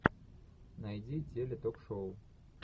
найди теле ток шоу